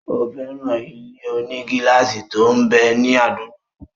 Ó fẹ́ràn ilé-onígílásì tó m bẹ ní àdúgbò rẹ̀